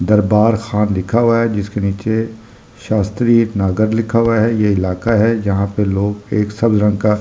दरबार खान लिखा हुआ है जिसके नीचे शास्त्रीय नगर लिखा हुआ है ये इलाका है जहां पे लोग एक सब लड़का--